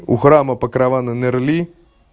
у храма покрована нерли